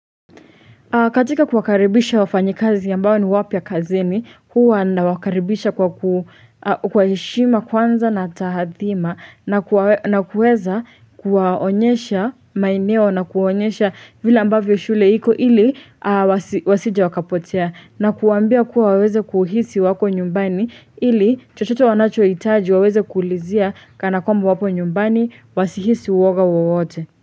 Katika kuwakaribisha wafanyikazi ambao ni wapya kazini huwa nawakaribisha kwa heshima kwanza na tahadhima na kuwa na kuweza kuwaonyesha maeneo na kuwaonyesha vile ambavyo shule iko ili wasije wakapotea na kuwaambia kuwa waweze kuhisi wako nyumbani ili chochote wanachohitaji waweze kuulizia kana kwamba wapo nyumbani wasihisi uoga wowote.